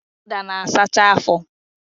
Ụda na-asacha afọ